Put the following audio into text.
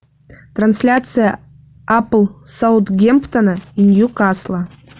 трансляция апл саутгемптона и ньюкасла